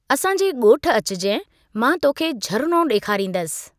असांजे ॻोठ अचिजाईं, मां तोखे झरिणो ॾेखारींदसि।